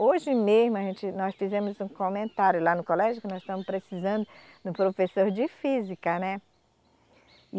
Hoje mesmo, a gente, nós fizemos um comentário lá no colégio, que nós estamos precisando de um professor de física, né.